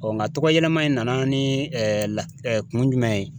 Ɔ nka tɔgɔ yɛlɛma in nana ni lahala kun jumɛn ye?